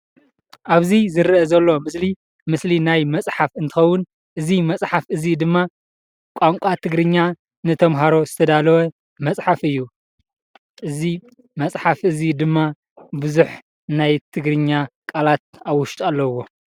ኣብዚ ዝረኣ ዘሎ ምስሊ ምስሊ ናይ መፅሓፍ እንትኸውን እዚ መፅሓፍ እዚ ድማ ቋንቋ ትግርኛ ንተምሃሮ ዝተዳለወ መፅሓፍ እዩ እዚ መፅሓፍ እዚ ድማ ቡዝሕ ናይ ትግርኛ ቃላት ኣብ ውሽጡ ኣለውዎ።